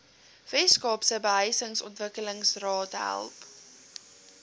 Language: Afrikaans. weskaapse behuisingsontwikkelingsraad help